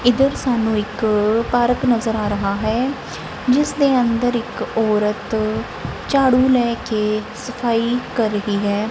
ਇਧਰ ਸਾਨੂੰ ਇੱਕ ਪਾਰਕ ਨਜ਼ਰ ਆ ਰਿਹਾ ਹੈ ਜਿਸ ਦੇ ਅੰਦਰ ਇੱਕ ਔਰਤ ਝਾੜੂ ਲੈ ਕੇ ਸਫਾਈ ਕਰ ਗਈ ਹੈ।